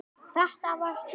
Þetta varst þú.